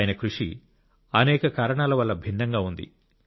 ఆయన కృషి అనేక కారణాల వల్ల భిన్నంగా ఉంది